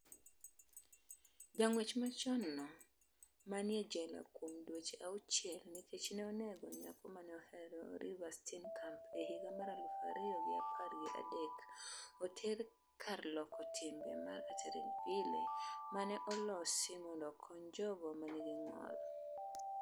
Jang'wech machon no maniye jela kuom dweche auchiel nikech ne onego nyako mane ohero Reeva Steenkamp e higa mar aluf ariyo gi apar gi adek, oter e kar loko timbe mar Atteridgeville, mane olosi mondo okony jogo manigi ng'ol